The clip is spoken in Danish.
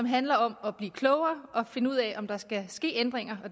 handler om at blive klogere og finde ud af om der skal ske ændringer